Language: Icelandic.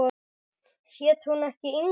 Hét hún ekki Inga?